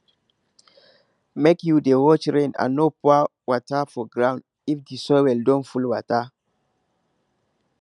make you dey watch rain and no pour water for ground if the the soil don full water